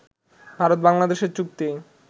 ভারত-বাংলাদেশ চুক্তি